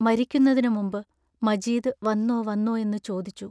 മരിക്കുന്നതിനു മുമ്പ് മജീദ് വന്നോ വന്നോ എന്നു ചോദിച്ചു.